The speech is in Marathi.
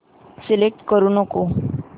सिलेक्ट करू नको